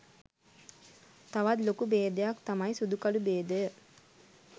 තවත් ලොකු බේදයක් තමයි සුදු කළු බේදය.